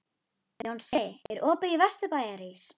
Jónsi, er opið í Vesturbæjarís?